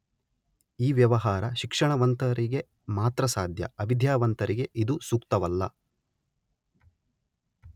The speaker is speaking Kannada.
ಈ ವ್ಯವಹಾರ ಶಿಕ್ಷಣ ವಂತರಿಗೆ ಮಾತ್ರ ಸಾಧ್ಯ ಅವಿದ್ಯಾವಂತರಿಗೆ ಇದು ಸೂಕ್ತವಲ್ಲ.